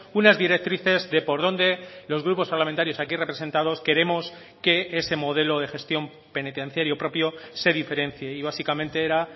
unas directrices de por dónde los grupos parlamentarios aquí representados queremos que ese modelo de gestión penitenciario propio se diferencia y básicamente era